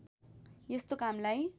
यस्तो कामलाई